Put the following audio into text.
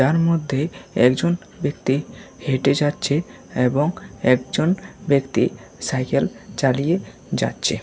তার মধ্যে একজন ব্যক্তি হেঁটে যাচ্ছে এবং একজন ব্যক্তি সাইকেল চালিয়ে যাচ্ছে।